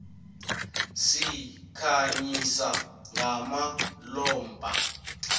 sikhanyisa ngamalombha